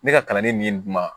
Ne ka kalanden min dun